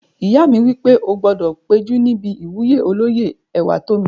Ìyá mi wí pé "o gbọdọ̀ péjú níbi ìwúyè olóyè Ẹwàtómi!"